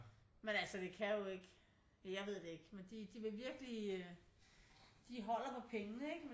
Men altså vi kan jo ikke jeg ved det ikke men de vil virkelig øh de holder på pengene ikke